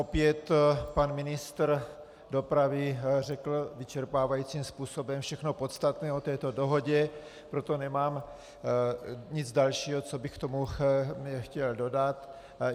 Opět pan ministr dopravy řekl vyčerpávajícím způsobem všechno podstatné o této dohodě, proto nemám nic dalšího, co bych k tomu chtěl dodat.